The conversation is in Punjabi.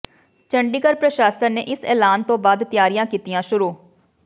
ਚੰਡੀਗੜ੍ਹ ਪ੍ਰਸ਼ਾਸਨ ਨੇ ਇਸ ਐਲਾਨ ਤੋਂ ਬਾਅਦ ਤਿਆਰੀਆਂ ਕੀਤੀਆਂ ਸ਼ੁਰੂ